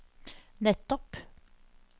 nettopp